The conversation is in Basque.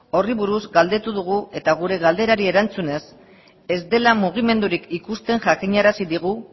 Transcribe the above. horri buruz galdetu dugu eta gure galderari erantzunez ez dela mugimendurik ikusten jakinarazi digu